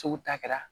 Sugu ta kɛra